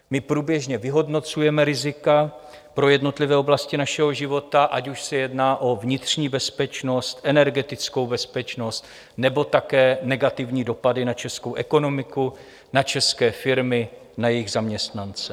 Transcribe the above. My průběžně vyhodnocujeme rizika pro jednotlivé oblasti našeho života, ať už se jedná o vnitřní bezpečnost, energetickou bezpečnost nebo také negativní dopady na českou ekonomiku, na české firmy, na jejich zaměstnance.